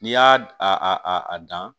N'i y'a a a dan